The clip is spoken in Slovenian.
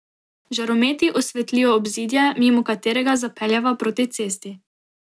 Žarometi osvetlijo obzidje, mimo katerega zapeljeva proti cesti.